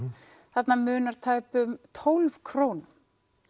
þarna munar tæpum tólf krónum